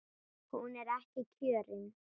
Hún er ekki kjörin.